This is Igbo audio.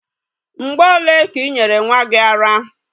Mgbe ole ka i nyere nwa gi ara?